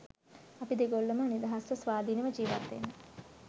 අපි දෙගොල්ලම නිදහස්ව ස්වාධීනව ජීවත් වෙන්න